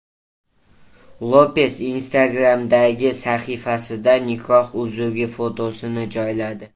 Lopes Instagram’dagi sahifasida nikoh uzugi fotosini joyladi .